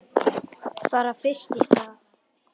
Bara fyrst í stað.